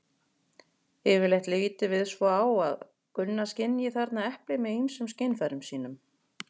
Yfirleitt lítum við svo á að Gunna skynji þarna eplið með ýmsum skynfærum sínum.